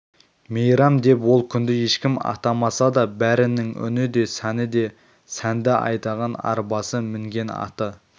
мейрам деп ол күнді ешкім атамаса да бәрінің үні де сәнді өзі де сәнді айдаған арбасы мінген аты